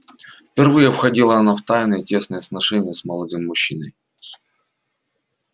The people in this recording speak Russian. впервые входила она в тайные тесные сношения с молодым мужчиной